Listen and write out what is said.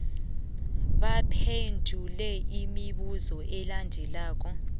baphendule imibuzo elandelako